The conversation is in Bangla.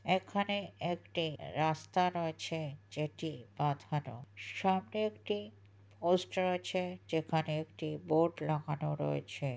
এখানে একটি রাস্তা রয়েছে যেটি বাঁধান। সামনে একটি পোস্ট রয়েছে যেখানে বোর্ড লাগানো রয়েছে।